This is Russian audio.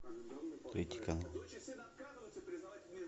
третий канал